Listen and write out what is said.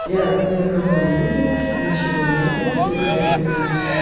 я ни на кого не обиделась ничего не это сегодня ты меня